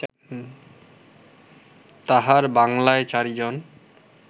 তাঁহার বাঙ্গলায় চারিজন